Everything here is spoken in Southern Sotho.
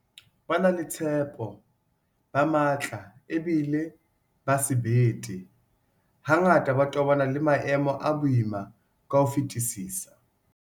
Ba na le tshepo, ba matla ebile ba sebete, hangata ba tobana le maemo a boima ka ho fetisisa.